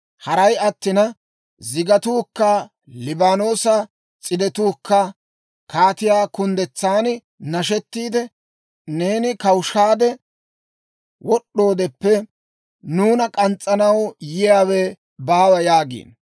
Haray attina, zigatuukka Liibaanoosa s'idetuukka, kaatiyaa kunddetsan nashettiide; ‹Neeni kawushaade wod'd'oodeppe, nuuna k'ans's'anaw yiyaawe baawa› yaagiino.